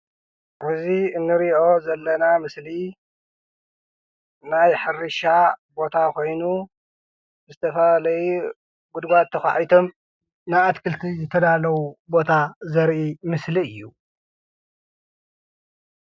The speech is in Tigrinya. እዚ ንሪኦ ዘለና ምስሊ ናይ ሕርሻ ቦታ ኮይኑ ዝተፈላለየ ጉድጓድ ተኳዕቶም ንኣትክልቲ ዝተዳለው ቦታ ዘርእ ምስሊ እዩ።